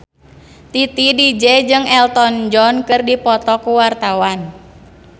Titi DJ jeung Elton John keur dipoto ku wartawan